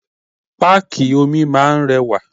Páàkì omi máa ń rẹwà.